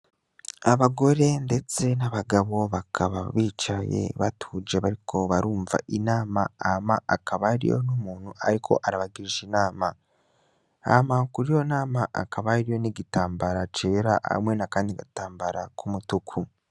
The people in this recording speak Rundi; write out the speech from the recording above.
Abagore, ndetse n'abagabo bakaba bicaye batuje bariko barumva inama hama akabariyo n'umuntu, ariko arabagirisha inama hama kuri yo nama akabariyo n'igitambara cera hamwe na, kandi gatambara k'umutuku.